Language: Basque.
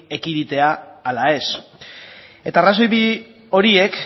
ekiditea ala ez eta arrazoi bi horiek